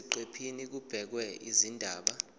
eziqephini kubhekwe izindaba